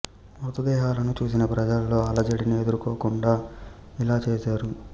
మృత దేహాలను చూసిన ప్రజలలో అలజడిని ఎదుర్కోకుండా ఇలా చేశారు